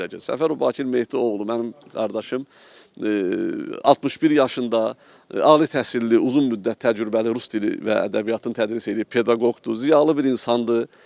Səfərov Bakir Mehdi oğlu mənim qardaşım 61 yaşında, ali təhsilli, uzun müddət təcrübəli rus dili və ədəbiyyatını tədris eləyib pedaqoqdur, ziyalı bir insandır.